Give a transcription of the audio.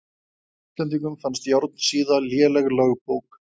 Íslendingum fannst Járnsíða léleg lögbók.